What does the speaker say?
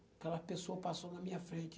Aquela pessoa passou na minha frente.